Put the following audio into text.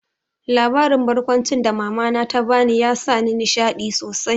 Labarin barkwancin da mama na ta bani ya sa ni nishaɗi sosai